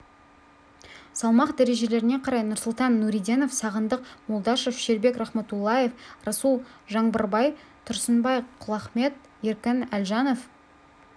салмақ дәрежелеріне қарай нұрсұлтан нұриденов сағындық молдашев шербек рахматуллаев расул жаңбырбай тұрсынбай құлахмет ерік әлжанов